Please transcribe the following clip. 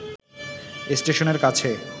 স্টেশনের কাছে